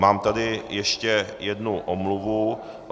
Mám tady ještě jednu omluvu.